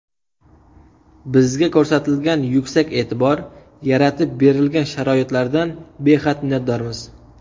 Bizga ko‘rsatilgan yuksak e’tibor, yaratib berilgan sharoitlardan behad minnatdormiz.